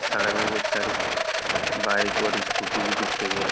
सड़क है बहुत सारी बाइक और स्कूटी भी दिख रही है।